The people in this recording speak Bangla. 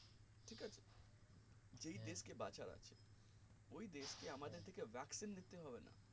যেই দেশ কে বাঁচার আছে ওই দেশ কে আমাদের থেকে vaccine দিতে হবে না